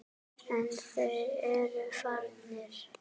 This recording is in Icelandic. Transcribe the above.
En þeir eru farnir.